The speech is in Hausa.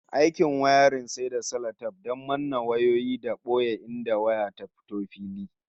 Aikin wiring sai da salatef don manne wayoyi da boye inda waya ta fito fili